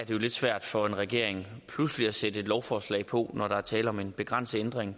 jo lidt svært for en regering pludselig at sætte et lovforslag på når der er tale om en begrænset ændring